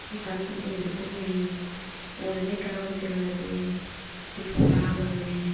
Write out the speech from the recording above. ekkan ye dokken uriney uguredi ekka guri dega jaidey tripura guriney.